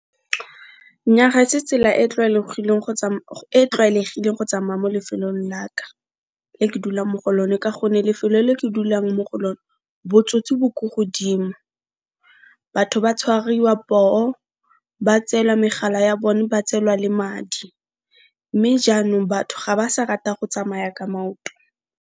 Nnyaa ga se tsela e tlwaelegileng go tsamaya mo lefelong la ka le ke dulang mo go lone ka gonne lefelo le ke dulang mo go lone botsotsi bo ko godimo, batho ba tshwariwa poo, ba tseelwa megala ya bone, ba tseelwa le madi mme jaanong batho ga ba sa rata go tsamaya ka maoto.